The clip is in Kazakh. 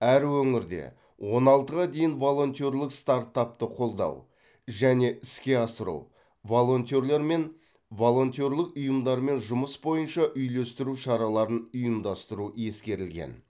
әр өңірде он алтыға дейін волонтерлік стартапты қолдау және іске асыру волонтерлер мен волонтерлық ұйымдармен жұмыс бойынша үйлестіру шараларын ұйымдастыру ескерілген